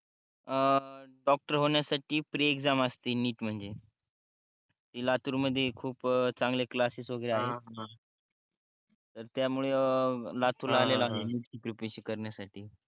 अं doctor होण्यासाठी pre exam असते NEET म्हणजे ते लातूर मध्ये खूप चांगले क्लासेस वगैरे आहेत ना त्यामुळे अं लातूरला आहे मी NEET प्रिपरेशन करण्यासाठी